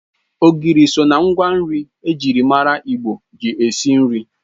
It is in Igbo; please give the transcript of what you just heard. Ogiri so ná ngwa nri ejiri mara Igbo ji esi nri